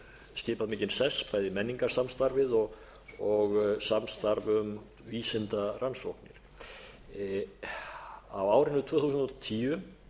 skipað mikinn sess bæði menningarsamstarfið og samstarf um vísindarannsóknir á árinu tvö þúsund og tíu